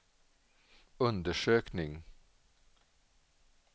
undersökning